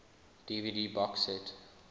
dvd box set